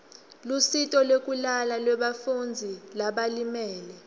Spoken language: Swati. lusito lwekulala lebafundzi labalimele